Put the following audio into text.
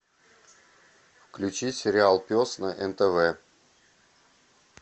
включи сериал пес на нтв